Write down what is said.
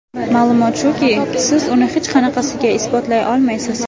Ma’lumot shuki, siz uni hech qanaqasiga isbotlay olmaysiz.